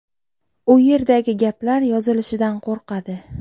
U yerdagi gaplar yozilishidan qo‘rqadi.